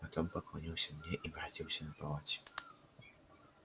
потом поклонился мне и воротился на полати